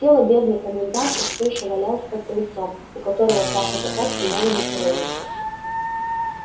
тело бедной комендантши всё ещё валялось под крыльцом у которого два казака стояли на карауле